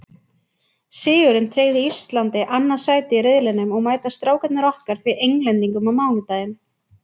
Sigurinn tryggði Íslandi annað sætið í riðlinum og mæta Strákarnir okkar því Englendingum á mánudaginn.